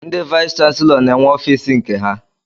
Ndị vayis chansilọ n'enwe ọfiisi nke ha.